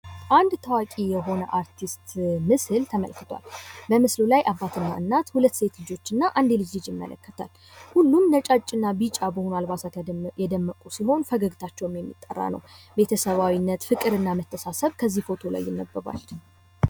አንድ ታዋቂ የሆነ አርቲስት ምስል የመልክል። በምስሉ ላይ እናትና አባት ሁለት ሴት ልጆችና አንድ የልጅ ልጅ ይመለከታል። ሁሉም ነጫጭና ቢጫ በሆኑ አልባሳት የደመቁ ሲሆን ፈገግታቸውም የሚጣራ ነው። ቤተሰባዊነት፣ ፍቅርና መተሳሰብ በዚህ ፎቶ ላይ ይመለከታል።